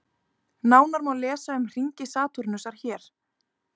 Nánar má lesa um hringi Satúrnusar hér.